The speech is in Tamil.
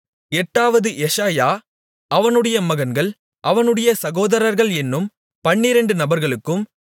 எட்டாவது எஷாயா அவனுடைய மகன்கள் அவனுடைய சகோதரர்கள் என்னும் பன்னிரெண்டு நபர்களுக்கும்